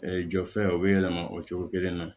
jɔ fɛn o bɛ yɛlɛma o cogo kelen na